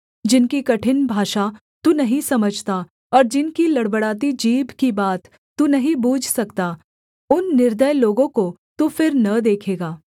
जिनकी कठिन भाषा तू नहीं समझता और जिनकी लड़बड़ाती जीभ की बात तू नहीं बूझ सकता उन निर्दय लोगों को तू फिर न देखेगा